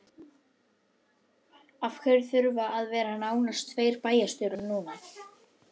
Af hverju þurfa að vera nánast tveir bæjarstjórar núna?